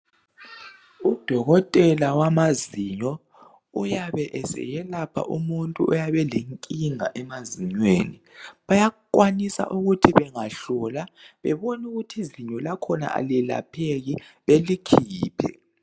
Udokotela wamazinyo uyabe eseyelapha umuntu oyabelenkinga emazinyweni bayakwanisa ukuthi bengahlola bebonukuthi izinyo lakhona alelapheki belikhiphe.